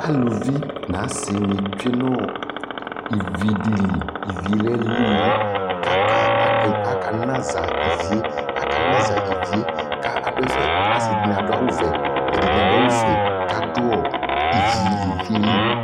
Aluvi nʋ asi nι tsue nʋ ivi dι li Ivi yɛ lɛ lili kʋ akanaza ivi yɛ, akanaza ivi yɛ kʋ adu ɛfɛ Asi dι nι adʋ awʋ vɛ, ɛdι nι adʋ awu fue ku adʋɔivi lili yɛ lι